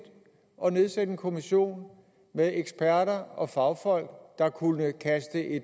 at nedsætte en kommission med eksperter og fagfolk der kunne kaste